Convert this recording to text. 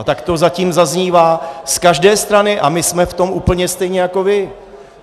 A tak to zatím zaznívá z každé strany a my jsme v tom úplně stejně jako vy.